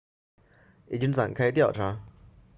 已经展开调查